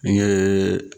N ye